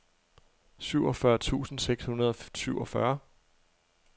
syvogfyrre tusind seks hundrede og syvogfyrre